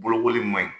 Bolokoli ma ɲi